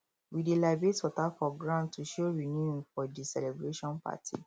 we dey libate water for ground to show renewing for di celebration party